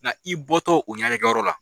Nka i bɔ tɔ u ɲɛnajɛ kɛ yɔrɔ la.